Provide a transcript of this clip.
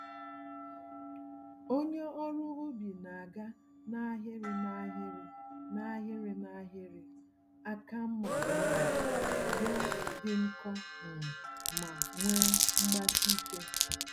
Onye ọrụ ubi na-aga n'ahịrị n'ahịrị, n'ahịrị n'ahịrị, àkà mmá um ya dị nkọ um ma nwee mgbasike